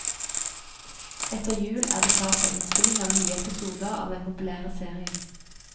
Etter jul er det klart for innspilling av nye episoder av den populære serien.